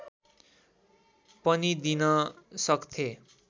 पनि दिन सक्थे